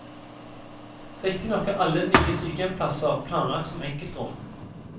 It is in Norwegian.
Riktignok er alle nye sykehjemsplasser planlagt som enkeltrom.